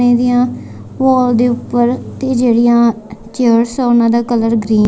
ਇਹਦੀਆਂ ਵੋਲ ਦੇ ਊਪਰ ਤੇ ਜਿਹੜੀਆ ਚੇਅਰਸ ਆ ਓਹਨਾਂ ਦਾ ਕਲਰ ਗ੍ਰੀਨ --